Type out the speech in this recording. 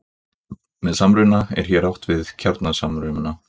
Með samruna er hér átt við kjarnasamruna.